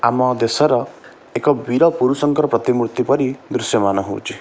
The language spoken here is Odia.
ଆମ ଦେଶର ଏକ ବିର ପୁରୁଷଙ୍କର ପ୍ରତିମୂର୍ତ୍ତି ପରି ଦୃଶ୍ୟ ମାନ ହଉଚି।